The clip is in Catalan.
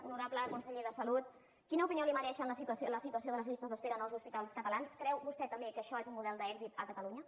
honorable conseller de salut quina opinió li mereix la situació de les llistes d’espera en els hospitals catalans creu vostè també que això és un model d’èxit a catalunya